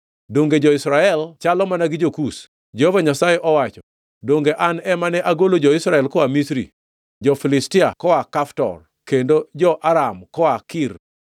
“Donge jo-Israel chalo mana gi jo-Kush?” Jehova Nyasaye owacho. “Donge an ema ne agolo jo-Israel koa Misri, jo-Filistia koa Kaftor, kendo jo-Aram koa Kir?